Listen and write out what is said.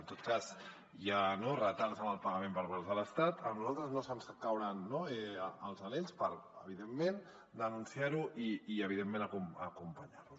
en tot cas si hi ha retards en el pagament per part de l’estat a nosaltres no ens cauran els anells per evidentment denunciar ho i evidentment acompanyar los